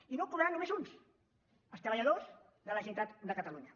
i no ho cobraran només uns els treballadors de la generalitat de cata·lunya